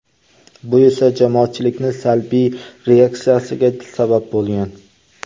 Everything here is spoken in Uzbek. Bu esa jamoatchilikning salbiy reaksiyasiga sabab bo‘lgan.